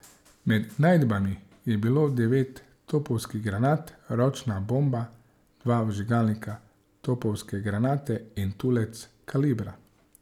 Med najdbami je bilo devet topovskih granat, ročna bomba, dva vžigalnika topovske granate in tulec kalibra.